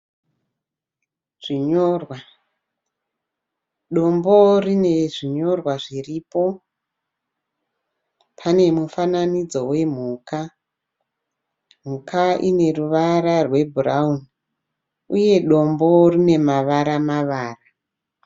Zvinyorwa zvinyorwa, dombo rine zvinyorwa zviripo pane mufananidzo hwemhuka, mhuka ine ruvara rwe burauni , uye dombo rine mavara mavara.